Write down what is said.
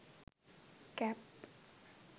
cap